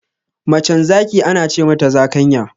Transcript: Macen zaki Ana ce mata zakanya.